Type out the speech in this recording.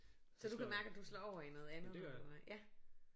Så du kan mærke at du slår over i noget andet på den måde ja